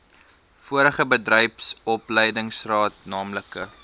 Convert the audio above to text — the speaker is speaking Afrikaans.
vorige bedryfsopleidingsrade naamlik